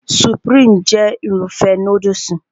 Supirimu jẹ́ Irúfẹ́ núdùsì